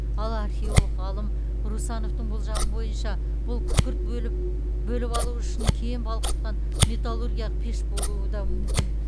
ал археолог ғалым русановтың болжамы бойынша бұл күкірт бөліп алу үшін кен балқытқан металлургиялық пеш болуы да мүмкін